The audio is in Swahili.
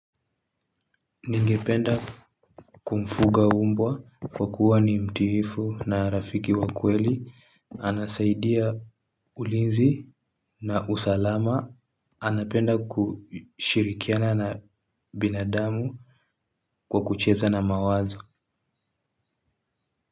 Ningependa kumfuga mbwa kwa kuwa ni mtiifu na rafiki wa kweli. Anasaidia ulinzi na usalama. Anapenda kushirikiana na binadamu kwa kucheza na mawazo.